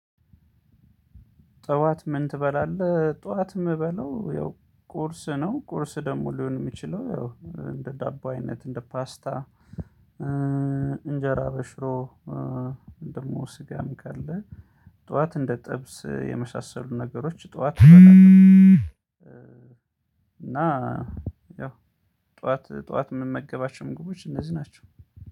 ጠዋት ምን ትበላለህ? ጠዋት ምበላው ያው ቁርስ ነው ቁርስ ደግሞ ሊሆን የሚችለው ያው እንደ ዳቦ አይነት እንደ ፓስታ እንጄራ በሽሮ ደግሞ ስጋም ካለ ጠዋት እንደ ጥብስ የመሳሰሉ ነገሮች ጠዋት እና ያው ጠዋት ጠዋት ምመገባቸው ምግቦች እነዚህ ናቸው።